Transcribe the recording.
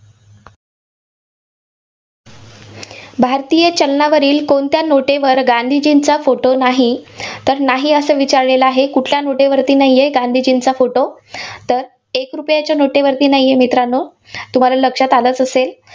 भारतीय चलनावरील कोणत्या नोटेवर गांधीजींचा फोटो नाही? तर नाही, असं विचारलेलं आहे. कुठल्या नोटेवरती नाहीये गांधीजींचा फोटो? तर एक रुपयाच्या नोटेवरती नाहीये मित्रांनो, तुम्हाला लक्षात आलंच असेल.